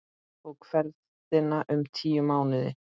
Tók ferðin um tíu mánuði.